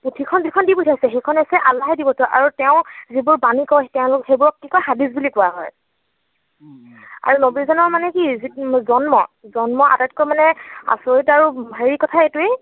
পুথি খন যিখন দি পঠিয়াইছে, সেইখন হৈছে আল্লাহে দি পঠিওৱা আৰু তেওঁ যিবোৰ বাণী কয়, সেইবোৰক কি কয় হাদিছ বুলি কোৱা হয়। আৰু নৱী জনৰ মানে কি জন্ম, জন্ম মানে আটাইতকৈ আচৰিত আৰু হেৰি কথা এইটোৱেই